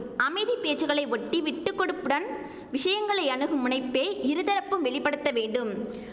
அமைதி பேச்சுகளை ஒட்டி விட்டுக்கொடுப்புடன் விஷயங்களை அணுகும் முனைப்பே இரு தரப்பும் வெளிப்படுத்தவேண்டும்